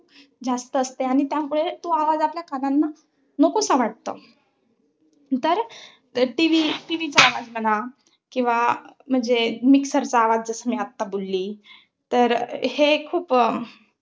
जास्त असते. आणि त्यामुळे तो आवाज आपल्या कानांना नकोसा वाटतो. तर TV ~ TV चा आवाज म्हणा. किंवा म्हणजे, mixer चा आवाज जसं, मी आत्ता बोलली. तर हे खूप अं